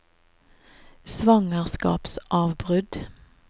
svangerskapsavbrudd